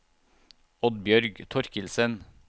Oddbjørg Torkildsen